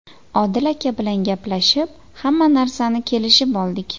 Odil aka bilan gaplashib, hamma narsani kelishib oldik.